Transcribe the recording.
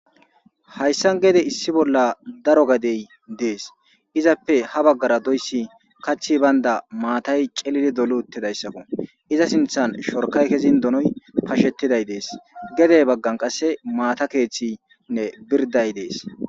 hayssan gede issi bolla daro gadey dees izappe ha baggara doyssi kathi baynda maatay celidi dolu uttidayssakko iza sinthan shorkay kezin donoy pashettiday dees gedey baggan qasse maata keeththinne birday dees